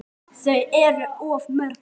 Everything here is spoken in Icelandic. Guð, þau eru of mörg.